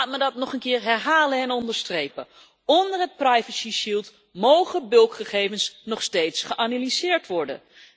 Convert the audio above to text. Laat mij dat nog een keer herhalen en onderstrepen onder het privacyschild mogen bulkgegevens nog steeds geanalyseerd worden.